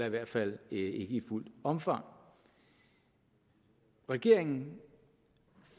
i hvert fald ikke i fuldt omfang regeringen